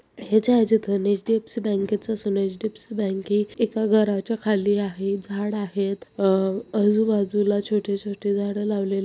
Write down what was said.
HDFC bank एका घरच्या खाली आहे झाड आहेत. अह अजू बाजूला छोटे छोटे झाडे लावलेले आहे.